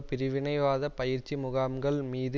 பிரிவினைவாத பயிற்சி முகாம்கள் மீது